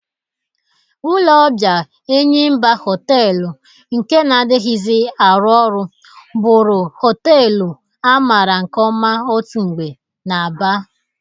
Ụlọ ọbịa Enyimba Họteelụ nke na-adịghịzi arụ ọrụ bụrụ họteelu amara nke ọma otu mgbe n'Aba,